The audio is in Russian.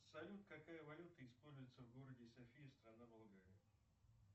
салют какая валюта используется в городе софия страна болгария